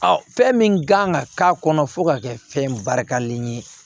fɛn min kan ka k'a kɔnɔ fo ka kɛ fɛn barikalen ye